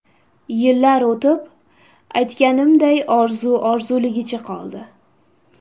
Yillar o‘tib, aytganimday orzu orzuligicha qoldi.